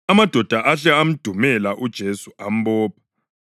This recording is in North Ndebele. Amadoda ahle amdumela uJesu ambopha.